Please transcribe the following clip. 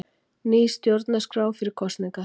Ný stjórnarskrá fyrir kosningar